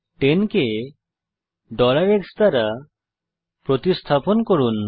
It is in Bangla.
10 কে x দ্বারা প্রতিস্থাপন করুন